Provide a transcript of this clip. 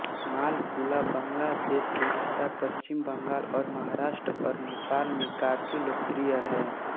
मालपुआ बांग्लादेश ओड़िशा पश्चिम बंगाल और महाराष्ट्र और नेपाल में काफी लोकप्रिय है